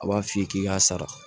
A b'a f'i ye k'i k'a sara